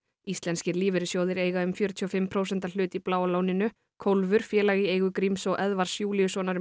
íslenskir lífeyrissjóðir eiga um fjörutíu og fimm prósenta hlut í Bláa lóninu félag í eigu Gríms og Eðvarðs Júlíussonar